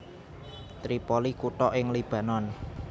Tripoli kutha ing Libanon